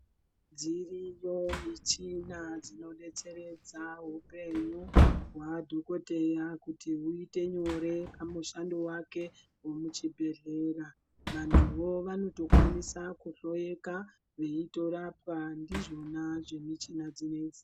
Dziriyo michina dzino detseredza hupenyu hwa dhokoteya kuti huite nyore pamushando wake we muchibhedhlera vantuwo vanoto kwanisa ku hloyeka veitorapa ndizvona zve muchina dzinedzi.